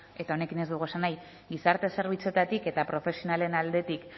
eta honekin ez dugu esan nahi gizarte zerbitzuetatik eta profesionalen aldetik